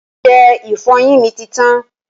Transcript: Ọṣẹ ìfọyín mi ti tán